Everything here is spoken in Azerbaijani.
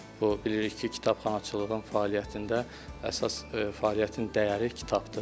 Bu bilirik ki, kitabxanaçılığın fəaliyyətində əsas fəaliyyətin dəyəri kitabdır.